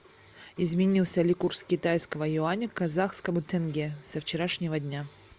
изменился ли курс китайского юаня к казахскому тенге со вчерашнего дня